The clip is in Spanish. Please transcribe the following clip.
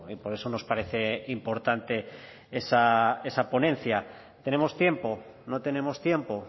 por eso nos parece importante esa ponencia tenemos tiempo no tenemos tiempo